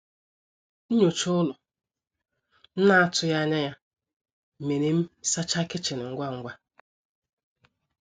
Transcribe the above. Nnyocha ụlọ m na atụghi anya ya mere m sacha kichin ngwa ngwa